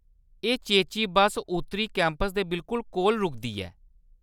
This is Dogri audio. एह्‌‌ चेची बस्स उत्तरी कैंपस दे बिलकुल कोल रुकदी ऐ।